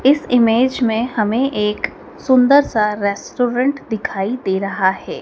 इस इमेज में हमें एक सुंदर सा रेस्टोरेंट दिखाई दे रहा है।